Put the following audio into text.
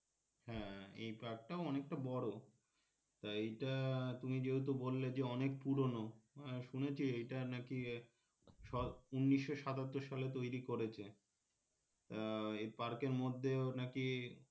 হ্যাঁ এই park টাও অনেকটা বড় টা এইটা তুমি যেহেতু বললে যে অনেক পুরনো হ্যাঁ শুনেছি এইটা নাকি উনিশশো সাতাত্তর সালে তৈরি করেছে আহ এই park এর মধ্যেও নাকি